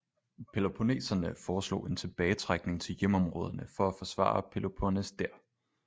Peloponneserne foreslog en tilbagetrækning til hjemområderne for at forsvare peloponnes der